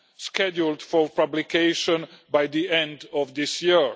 scheduled for publication by the end of this year.